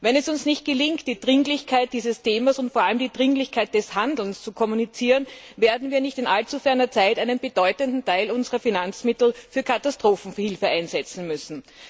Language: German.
Wenn es uns nicht gelingt, die Dringlichkeit dieses Themas und vor allem die Dringlichkeit des Handelns zu kommunizieren, werden wir in nicht allzu ferner Zeit einen bedeutenden Teil unserer Finanzmittel für Katastrophenhilfe einsetzen müssen.